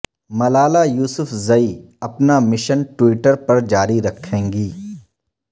ملالہ یوسفزئی اپنا mission Twitter پر جاری رکھیں گی